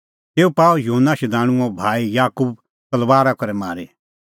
तेऊ पाअ युहन्ना शधाणूंओ भाई याकूब तलबारा करै मारी